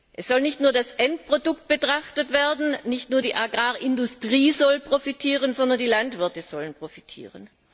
Es soll nicht nur das Endprodukt betrachtet werden, nicht nur die Agrarindustrie soll profitieren, sondern die Landwirte sollen profitieren.